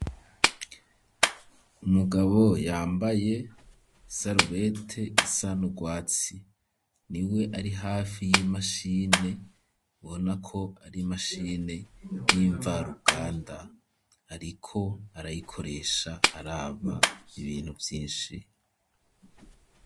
Umugabo yambaye isarubete isa n'urwatsi niwe ari hafi y'imashine ubonako ari mashine yimva ruganda ariko arayikoresha araba ibintu vyishi.